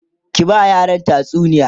ki ba yaran tatsuniya!